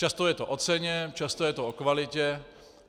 Často je to o ceně, často je to o kvalitě.